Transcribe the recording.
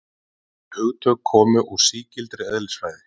Þau hugtök koma úr sígildri eðlisfræði.